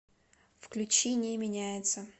включи не меняется